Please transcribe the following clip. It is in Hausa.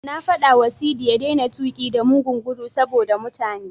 Na faɗawa Sadi ya daina tuƙi da mugun gudu saboda mutane.